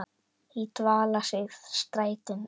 í dvala sig strætin þagga.